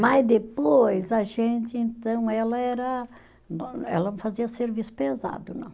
Mas depois, a gente, então, ela era, ela fazia serviço pesado, não.